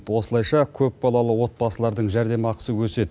осылайша көпбалалы отбасылардың жәрдемақысы өседі